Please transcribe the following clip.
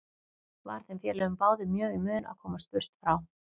Var þeim félögum báðum mjög í mun að komast burt frá